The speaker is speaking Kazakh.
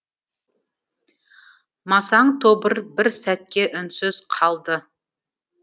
масаң тобыр бір сәтке үнсіз қалды